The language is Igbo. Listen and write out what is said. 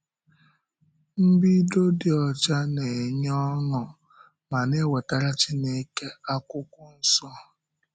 Mbido dị ọcha na-enye ọṅụ ma na-ewetara Chineke Akwụkwọ Nsọ.